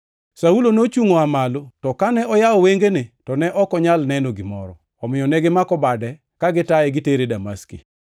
Saulo nochungʼ oa malo, to kane oyawo wengene, to ne ok onyal neno gimoro. Omiyo negimako bade kagitaye gitere Damaski.